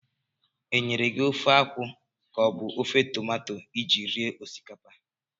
Enyere gị ofe akwụ ka ọ bụ ofe tomato iji rie osikapa?